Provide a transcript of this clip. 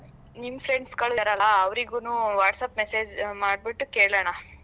ನಿಮ್ friends ಗಳು ಇದ್ದಾರಲ್ಲ ಅವ್ರಿಗುನು WhatsApp message ಮಾಡ್ಬಿಟ್ ಕೇಳಣ.